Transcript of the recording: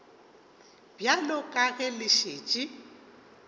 bjalo ka ge le šetše